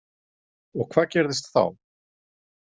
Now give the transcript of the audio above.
Og hvað gerðist þá?